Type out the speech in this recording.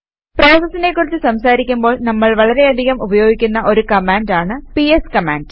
പ്രോസസസിനെ കുറിച്ച് സംസാരിക്കുമ്പോൾ നമ്മൾ വളരെയധികം ഉപയോഗിക്കുന്ന ഒരു കമാൻഡ് ആണ് പിഎസ് കമാൻഡ്